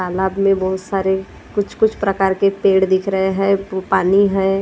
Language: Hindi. तालाब में बहुत सारे कुछ-कुछ प्रकार के पेड़ दिख रहे हैं पानी है।